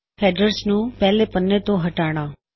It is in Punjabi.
ਹੈਡਰਜ ਨੂੰ ਪਹਿਲੇ ਪੱਨੇ ਤੋਂ ਹਟਾਣਾ